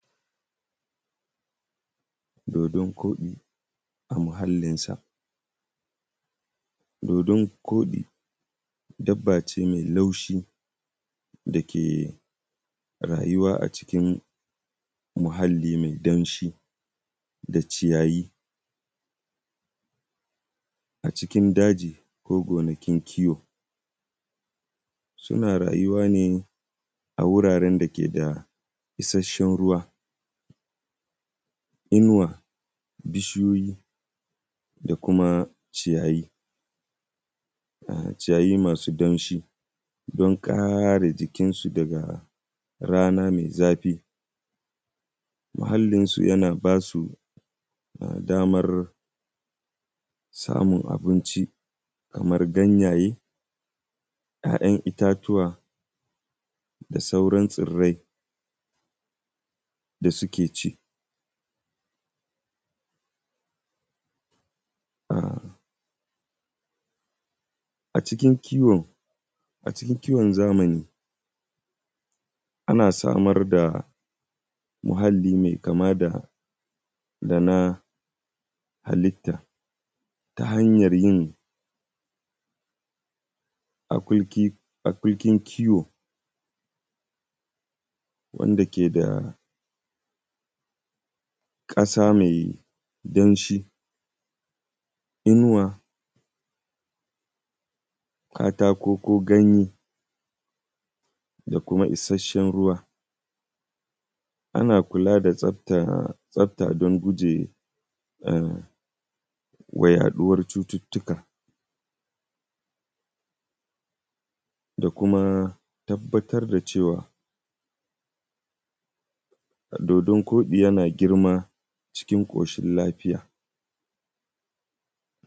Dodon koɗi a muhalinsa. Dodon koɗi dabba ce mai laushi da ke rayuwa a cikin muhalli mai danshi da ciyayi a cikin daji, ko gonakin kiwo. Suna rayuwa ne a wurare da ke da ishahen ruwa, inuwa, bishiyoyi, da kuma ciyayi, ciyayi masu danshi don kare jikin su daga rana mai zafi. Muhalinsu yana ba su damar samun abinci kamar ganyaye, y'ay'an itatuwa, da sauran tsirrai da suke ci. A cikin kiwon zamani ana samar da muhalli mai kama da na halitta ta hanyar yin akulkin kiwo wanda ke da ƙasa mai danshi, inuwa, katako ko ganye da kuma isasshen ruwa, ana kula da tsafta don gujewa yaɗuwar cututtuka da kuma tabbatar da cewa dodon koɗi yana girma cikin ƙoshin lafiya.